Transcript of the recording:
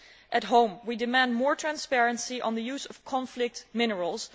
At home we demand more transparency on the use of conflict minerals.